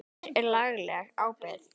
Hver er lagaleg ábyrgð?